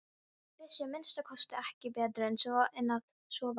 Vissi að minnsta kosti ekki betur en að svo væri.